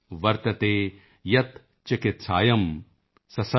ਵਰਤਤੇ ਯਤ੍ ਚਿਕਿਤਸਾਯਾਂ ਸ ਸਵਰਮ ਇਤਿ ਵਰਤਤੇ